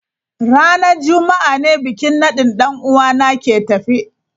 Ranar juma'a ne bikin nadin dan uwa na ke tafe.